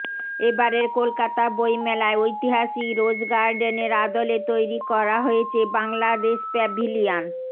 এবারের কলকাতা বইমেলায় ঐতিহাসিক রোজ গার্ডেনের আদলে তৈরি করা হয়েছে বাংলাদেশ প্যাভিলিয়ন